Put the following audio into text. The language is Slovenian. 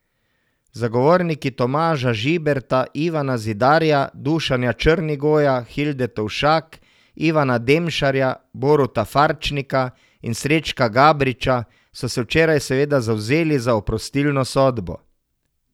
Zagovorniki Tomaža Žiberta, Ivana Zidarja, Dušana Črnigoja, Hilde Tovšak, Ivana Demšarja, Boruta Farčnika in Srečka Gabriča so se včeraj seveda zavzeli za oprostilno sodbo.